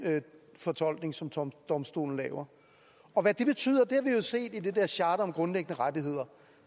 fortolkning som som domstolen laver og hvad det betyder har vi jo set i det der charter om grundlæggende rettigheder